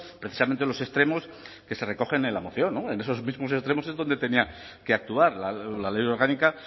precisamente los extremos que se recogen en la moción en esos mismos extremos es donde tenía que actuar la ley orgánica